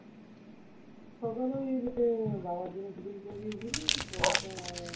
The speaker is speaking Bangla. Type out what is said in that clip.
সকালে বাবা জিনিস কিনতে বেরিয়েছিল পরে তো